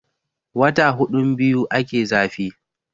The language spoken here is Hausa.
wata hudun biyu ake zafi